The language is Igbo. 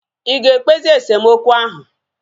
Ịga ekpezi esemokwu ahu?